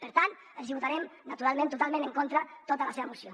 per tant votarem naturalment totalment en contra tota la seva moció